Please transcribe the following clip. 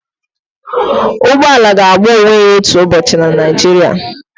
ụgbọ ala ga-agba onwe ya otu ụbọchị na Naijiria